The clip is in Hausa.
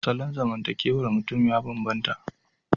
Salon zamantakewar mutum ya bambanta.